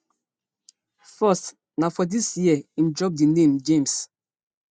first na for dis year im drop di name james